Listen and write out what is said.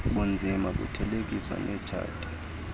bunzima buthelekiswa netshati